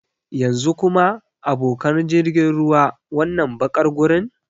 Yanzu kuma, abokan jirgin ruwa, wannan baƙar gurin?